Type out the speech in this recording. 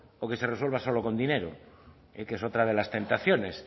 o que se resuelva solo con dinero que es otra de las tentaciones